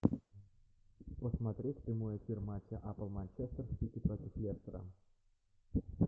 посмотреть прямой эфир матча апл манчестер сити против лестера